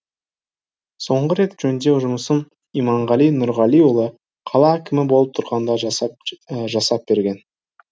соңғы рет жөндеу жұмысын иманғали нұрғалиұлы қала әкімі болып тұрғанда жасап берген